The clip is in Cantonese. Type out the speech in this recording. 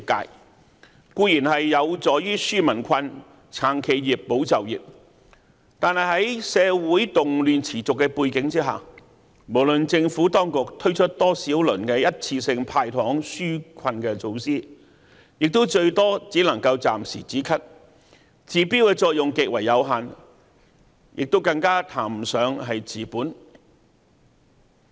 這些固然有助於紓民困、撐企業、保就業，但在社會動亂持續的背景下，無論政府當局推出多少輪一次性"派糖"紓困措施，也最多只能夠暫時"止咳"，治標的作用極為有限，更談不上治本。